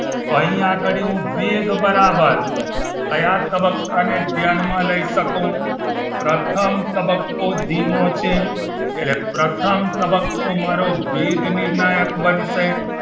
તો અહીં આગળી હું વેગ બરાબર કયા તબક્કાને ધ્યાનમાં લઇ શકું પ્રથમ તબક્કો ધીમો છે એટલે પ્રથમ તબક્કો મારો વેગ નિર્ણાયક બનશે